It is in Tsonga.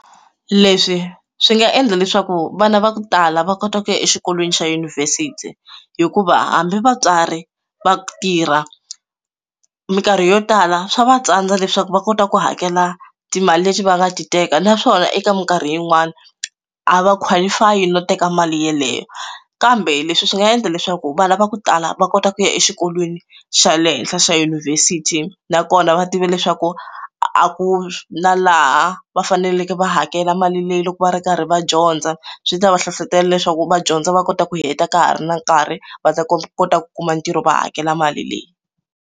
Leswi swi nga endla leswaku vana va ku tala va kota ku ya exikolweni xa yunivhesiti hikuva hambi vatswari va tirha minkarhi yo tala swa va tsandza leswaku va kota ku hakela timali leti va nga ti teka naswona eka minkarhi yin'wani a va qualify no teka mali yeleyo kambe leswi swi nga endla leswaku vana va ku tala va kota ku ya exikolweni xa le henhla xa yunivhesiti nakona va tiva leswaku a ku la laha va faneleke va hakela mali leyi loko va ri karhi va dyondza swi ta va hlohlotela leswaku va dyondza va kota ku heta ka ha ri na nkarhi va ta kota ku kuma ntirho va hakela mali leyi.